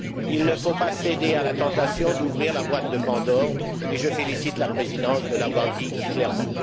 Il ne faut pas céder à la tentation d'ouvrir la boîte de Pandore, et je félicite la Présidence de l'avoir dit clairement.